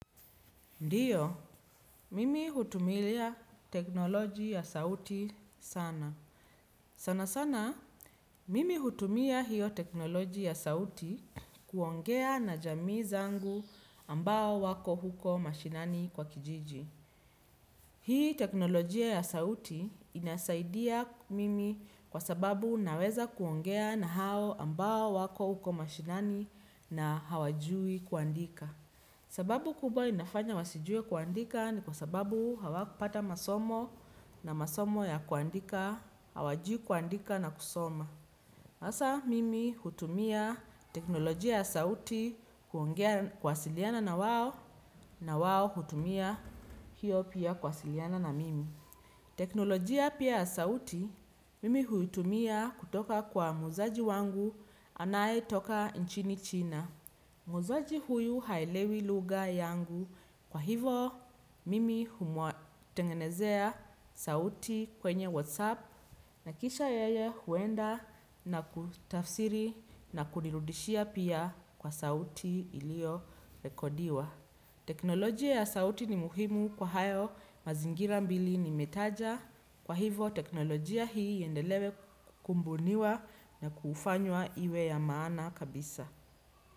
Ndiyo, mimi hutumilia teknoloji ya sauti sana. Sana sana, mimi hutumia hiyo teknoloji ya sauti kuongea na jamii zangu ambao wako huko mashinani kwa kijiji. Hii teknolojia ya sauti inasaidia mimi kwa sababu naweza kuongea na hao ambao wako huko mashinani na hawajui kuandika. Sababu kubwa inafanya wasijue kuandika ni kwa sababu hawakupata masomo na masomo ya kuandika, hawajui kuandika na kusoma. Hasa mimi hutumia teknolojia ya sauti kuwasiliana na wao na wao hutumia hiyo pia kwasiliana na mimi. Teknolojia pia ya sauti mimi huitumia kutoka kwa mwuzaji wangu anayetoka nchini china. Mwuzaji huyu haelewi lugha yangu kwa hivo mimi humuatengenezea sauti kwenye whatsapp na kisha yeye huenda na kutafsiri na kunirudishia pia kwa sauti iliyo rekodiwa. Teknolojia ya sauti ni muhimu kwa hayo mazingira mbili nimetaja kwa hivo teknolojia hii iendelewe kubuniwa na kufanywa iwe ya maana kabisa.